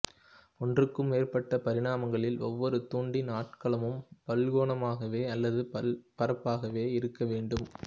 ஒன்றுக்கு மேற்பட்ட பரிமாணங்களில் ஒவ்வொரு துண்டின் ஆட்களமும் பல்கோணமாகவோ அல்லது பல்பரப்பாகவோ இருக்க வேண்டும்